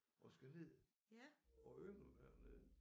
Og skal ned og yngle hernede